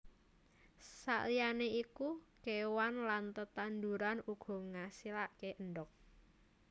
Saliyaé iku kéewan lan tetanduran uga ngasilaké endhog